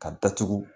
Ka datugu